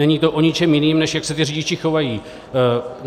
Není to o ničem jiném, než jak se ti řidiči chovají.